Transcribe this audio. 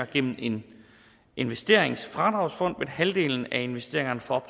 gennem en investeringsfradragsfond vil halvdelen af investeringerne for